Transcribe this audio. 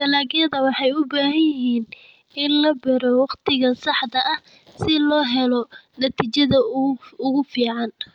Dalagyada waxay u baahan yihiin in la beero wakhtiga saxda ah si loo helo natiijada ugu fiican.